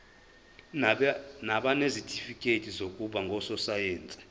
nabanezitifikedi zokuba ngososayense